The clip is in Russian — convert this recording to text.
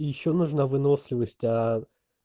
ещё нужна выносливость аа